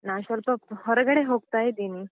ನಾನ್ ಸ್ವಲ್ಪ ಹೊರಗಡೆ ಹೋಗ್ತಾ ಇದ್ದೀನಿ.